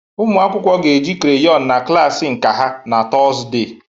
Ụmụ akwụkwọ ga-eji crayon na klas nka ha na Tọzdee